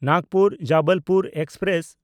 Nagpur Jabalpur express